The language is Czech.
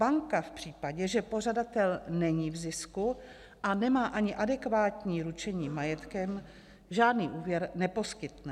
Banka v případě, že pořadatel není v zisku a nemá ani adekvátní ručení majetkem, žádný úvěr neposkytne.